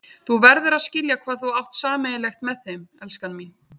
Þú verður að skilja hvað þú átt sameiginlegt með þeim, elskan mín.